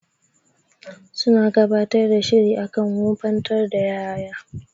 Suna gabatar da shiri akan wofantar da ƴaƴa.